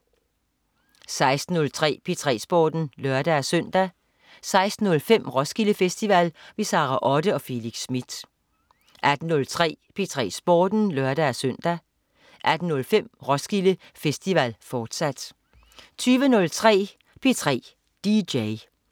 16.03 P3 Sporten (lør-søn) 16.05 Roskilde Festival. Sara Otte og Felix Smith 18.03 P3 Sporten (lør-søn) 18.05 Roskilde Festival, fortsat 20.03 P3 dj